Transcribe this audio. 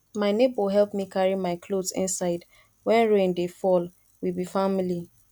my nebor help me carry my cloth inside wen rain dey fall we be family